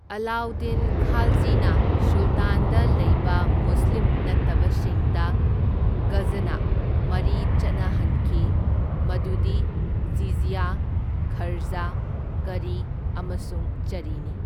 ꯑꯂꯥꯎꯗꯤꯟ ꯈꯥꯜꯖꯤꯅ ꯁꯨꯜꯇꯥꯟꯗ ꯂꯩꯕ ꯃꯨꯁꯂꯤꯝ ꯅꯠꯇꯕꯁꯤꯡꯗ ꯘꯖꯅꯥ ꯃꯔꯤ ꯆꯠꯅꯍꯟꯈꯤ, ꯃꯗꯨꯗꯤ ꯖꯤꯖꯌ, ꯈꯔꯖ, ꯀꯔꯤ, ꯑꯃꯁꯨꯡ ꯆꯔꯤꯅꯤ꯫